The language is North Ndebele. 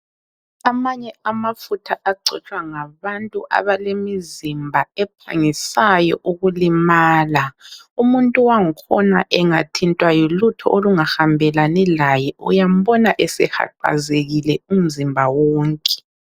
Amanye amafutha agcotshwa ngabantu abalemizimba ephangisayo ukulimala. Umuntu wangikhona engathintwa yilutho olungahambelani laye uyambona esehaqazekile umzimba wonke.